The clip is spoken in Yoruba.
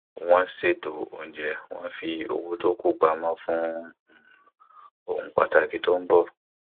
wọn ṣètò oúnjẹ wón fi owó tó kù pamọ fún um ohun pàtàkì tó ń bọ